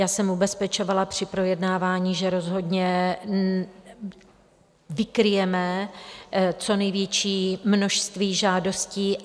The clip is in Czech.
Já jsem ubezpečovala při projednávání, že rozhodně vykryjeme co největší množství žádostí.